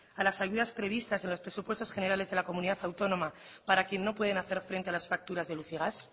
a las ayudas previstas a los presupuestos generales de la comunidad autónoma para quien no pueden hacer frente a las facturas de luz y gas